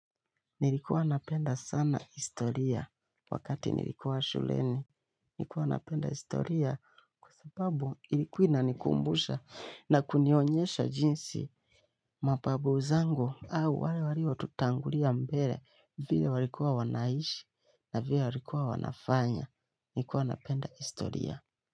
Nilikuwa napenda sana historia wakati nilikuwa shuleni. Nilikuwa napenda historia kwa sababu ilikuwa inanikumbusha na kunionyesha jinsi mababu zangu au wale waliotutangulia mbele, vile walikuwa wanaishi na vile walikuwa wanafanya. Nilikuwa napenda historia.